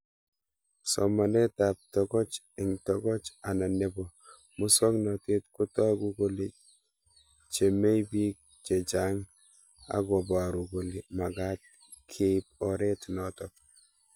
Somanet ab tokoch eng' tokoch anan nepo muswognatet kotagu kole chamei pik chechang' akoparu kole magat keip oret notok